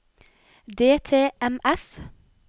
DTMF